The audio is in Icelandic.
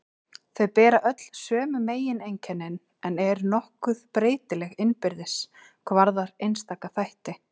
Þau bera öll sömu megineinkennin en eru nokkuð breytileg innbyrðis hvað varðar einstaka þætti.